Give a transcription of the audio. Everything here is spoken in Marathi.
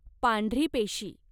पांढरी पेशी